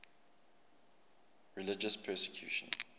religious persecution